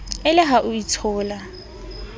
e le ha o itshola